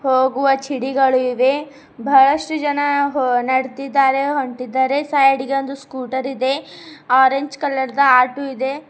ಹೋಗುವ ಚಿಡಿಗಳು ಇವೆ ಬಹಳಷ್ಟು ಜನ ನಡೆದಿದ್ದಾರೆ ಹೊಂಟಿದ್ದಾರೆ ಸೈಡಿ ಗೊಂದು ಸ್ಕೂಟರ್ ಇದೆ ಆರೆಂಜ್ ಕಲರ್ ಆಟೋ ಇದೆ.